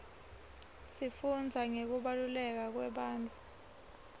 sifundza ngekubaluleka kwebantfu